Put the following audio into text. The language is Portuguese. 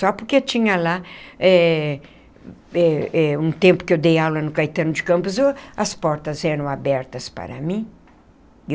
Só porque tinha lá eh eh eh, um tempo que eu dei aula no Caetano de Campos o as portas eram abertas para mim.